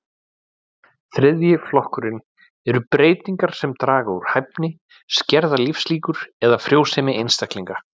Þriðji flokkurinn eru breytingar sem draga úr hæfni, skerða lífslíkur eða frjósemi einstaklinga.